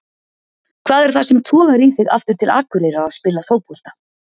Hvað er það sem togar í þig aftur til Akureyrar að spila fótbolta?